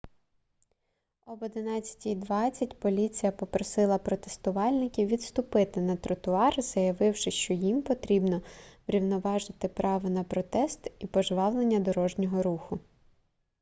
об 11:20 поліція попросила протестувальників відступити на тротуар заявивши що їм потрібно врівноважити право на протест і пожвавлення дорожнього руху